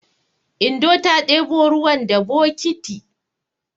Indo ta ɗebo ruwan da bokiti.